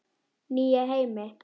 Nýja heimi?